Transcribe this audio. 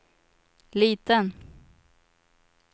liten